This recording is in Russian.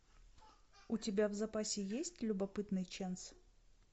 у тебя в запасе есть любопытный чэнс